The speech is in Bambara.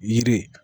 Yiri